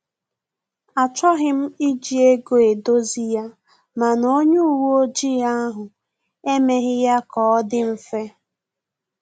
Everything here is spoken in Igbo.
Achọghị m iji ego edozi ya, mana onye uwe ọjị ahụ emeghị ya ka ọ dị mfe